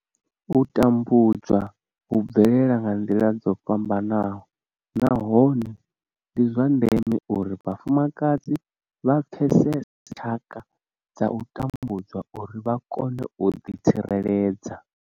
U tambudzwa hu bvelela nga nḓila dzo fhambanaho nahone ndi zwa ndeme uri vhafumakadzi vha pfesese tshaka dza u tambudzwa uri vha kone u ḓitsireledza.